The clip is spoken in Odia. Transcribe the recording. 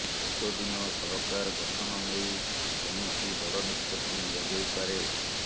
ଉକ୍ତ ଦିନ ସରକାର ଗଠନ ନେଇ କୌଣସି ବଡ଼ ନିଷ୍ପତ୍ତି ନିଆଯାଇପାରେ